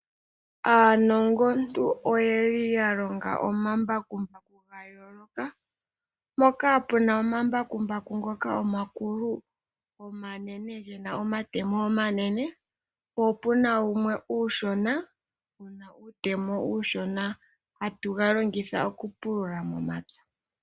Aanongontu oyeli ya longa omambakumbaku ga yooloka, mpoka puna omambakumbaku ngoka omakulu, omanene gena omatemo omanene, po opuna wumwe uushona wuna uutemo uushona, hatu ga longitha oku pulula momapya.